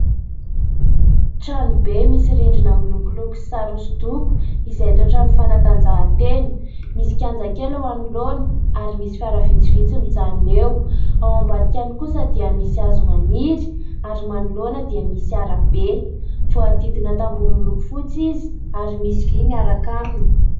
Trano be misy rindrina milokoloko sy sary hosodoko, izay toa trano fanatanjahan-tena, misy kianja kely eo anoloana ary misy fiara vitsivitsy mijanona eo, ao ambadikany kosa dia misy hazo maniry ary manoloana dia misy arabe, voahodidina tamboho miloko fotsy izy ary misy vy miaraka aminy.